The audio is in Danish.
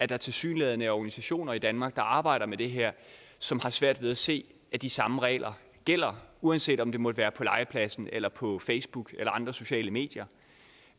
der tilsyneladende er organisationer i danmark der arbejder med det her som har svært ved at se at de samme regler gælder uanset om det måtte være på legepladsen eller på facebook eller andre sociale medier